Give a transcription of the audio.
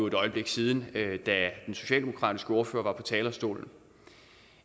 et øjeblik siden da den socialdemokratiske ordfører var på talerstolen